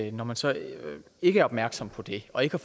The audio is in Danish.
at når man så ikke er opmærksom på det og ikke